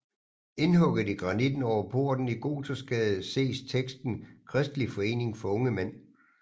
Indhugget i granitten over porten i Gothersgade ses teksten Kristelig Forening for Unge Mænd